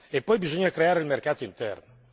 E poi bisogna creare il mercato interno.